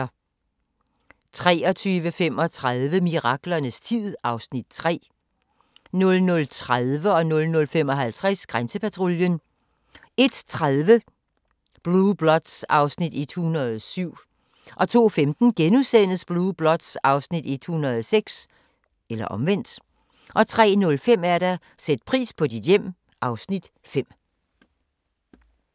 23:35: Miraklernes tid (Afs. 3) 00:30: Grænsepatruljen 00:55: Grænsepatruljen 01:30: Blue Bloods (Afs. 107) 02:15: Blue Bloods (Afs. 106)* 03:05: Sæt pris på dit hjem (Afs. 5)